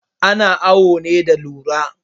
Ana awo ne da rula